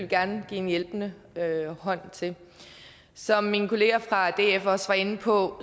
gerne give en hjælpende hånd til som min kollega fra df også var inde på